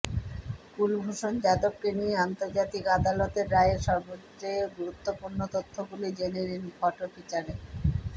কুলভূষণ যাদবকে নিয়ে আন্তর্জাতিক আদালতের রায়ের সবচেয়ে গুরুত্বপূর্ণ তথ্যগুলি জেনে নিন ফটো ফিচারে